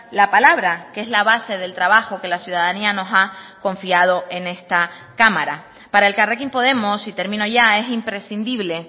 la palabra que es la base del trabajo que la ciudadanía nos ha confiado en esta cámara para elkarrekin podemos y termino ya es imprescindible